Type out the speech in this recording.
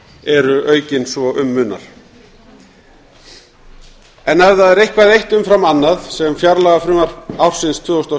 eru aukin svo um munar en ef það er eitthvað eitt umfram annað sem fjárlagafrumvarp ársins tvö þúsund og